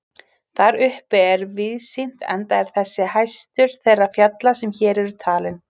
Þar uppi er víðsýnt enda er þessi hæstur þeirra fjalla sem hér eru talin.